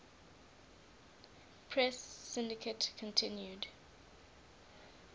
press syndicate continued